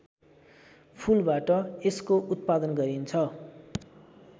फूलबाट यसको उत्पादन गरिन्छ